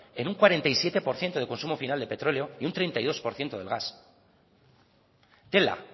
en un cuarenta y siete por ciento de consumo final de petróleo y un treinta y dos por ciento del gas tela